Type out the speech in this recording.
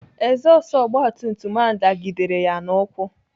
Ezọstụ ogbatumtum ahụ dagidere ya n'ụkwụ.